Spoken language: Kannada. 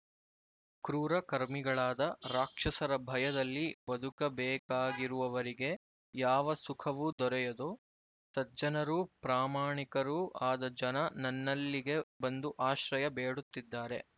ಕ್ರೂರಕರ್ಮಿಗಳಾದ ರಾಕ್ಷಸರ ಭಯದಲ್ಲಿ ಬದುಕಬೇಕಾಗಿರುವವರಿಗೆ ಯಾವ ಸುಖವೂ ದೊರೆಯದು ಸಜ್ಜನರೂ ಪ್ರಾಮಾಣಿಕರೂ ಆದ ಜನ ನನ್ನಲ್ಲಿಗೆ ಬಂದು ಆಶ್ರಯ ಬೇಡುತ್ತಿದ್ದಾರೆ